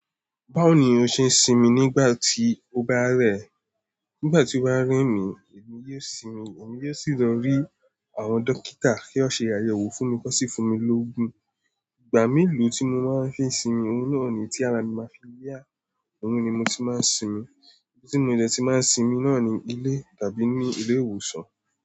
Báwo ni o ṣe ń sinmi nígbà tí o bá rẹ̀? Nígbà tí o bá ń rí mi, èmi yóò sinmi, èmi yóò sì lọ rí àwọn dókítà kí wọ́n ṣe àyẹ̀wò fún mi kó sì fún mi lógun. Ìgbà melo tí mo máa ń fi sinmi, ohun náà ni tí ara mi máa fi yá, òun ni mo ti máa ń sinmi. Ibí tí mo de ti máa ń sinmi náà ni ilé tàbí ní ilé ìwòsàn.